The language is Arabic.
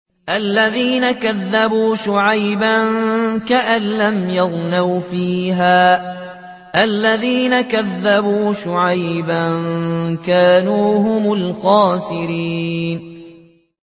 الَّذِينَ كَذَّبُوا شُعَيْبًا كَأَن لَّمْ يَغْنَوْا فِيهَا ۚ الَّذِينَ كَذَّبُوا شُعَيْبًا كَانُوا هُمُ الْخَاسِرِينَ